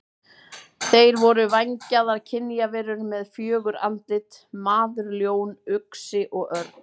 Þeir voru vængjaðar kynjaverur með fjögur andlit: maður, ljón, uxi og örn.